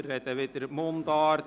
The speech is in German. Wir sprechen weiterhin Mundart.